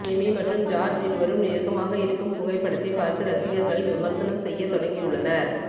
Amy மற்றும் George இருவரும் நெருக்கமாக இருக்கும் புகைபடத்தை பார்த்து ரசிகர்கள் விமர்சனம் செய்ய தொடங்கி உள்ளனர்